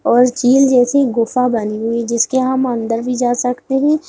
और चील जैसी गुफा बनी हुई जिसके हम अंदर भी जा सकते है।